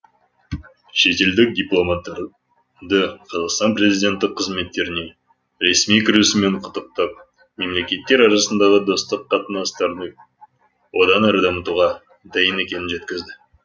шетелдік дипломаттарды қазақстан президенті қызметтеріне ресми кірісуімен құттықтап мемлекеттер арасындағы достық қатынастарды одан әрі дамытуға дайын екенін жеткізді